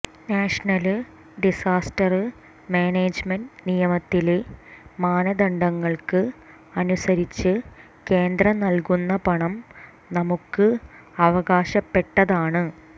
national disaster management നിയമത്തിലെ മാനദണ്ഡങ്ങള്ക്ക് അനുസരിച്ച് കേന്ദ്രം നല്കുന്ന പണം നമുക്ക് അവകാശപ്പെട്ടതാണ്